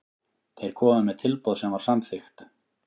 Þeir komu með tilboð sem var samþykkt.